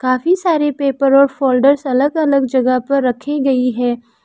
काफी सारे पेपर और फोल्डर अलग जगह पर रखे गई है।